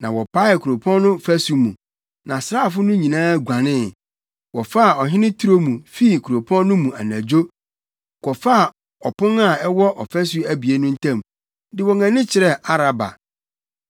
Na wɔpaee kuropɔn no fasu mu, na asraafo no nyinaa guanee. Wɔfaa ɔhene turo mu fii kuropɔn no mu anadwo, kɔfaa ɔpon a ɛwɔ afasu abien no ntam, de wɔn ani kyerɛɛ Araba.